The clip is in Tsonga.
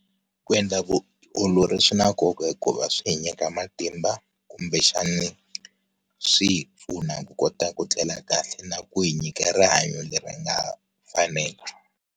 Ku endla vuolori swi na nkoka hikuva swi hi nyika matimba, kumbexani, swi hi pfuna ku kota ku tlela kahle na ku hi nyika rihanyo leri nga fanela.